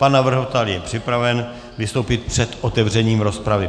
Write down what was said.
Pan navrhovatel je připraven vystoupit před otevřením rozpravy.